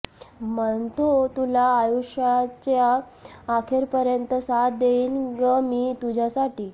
म्हणतो तुला आयुष्याचेया आखेरपर्यंत साथ देईन ग मी तुझ्यासाठी